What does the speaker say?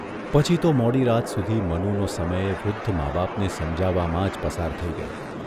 પછી તો મોડીરાત સુધી મનુનો સમય વૃદ્ધ મા બાપને સમજાવવામાં જ પસાર થઇ ગયો.